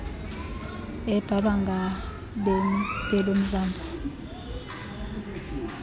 ebhalwa ngabemmi belomzantsi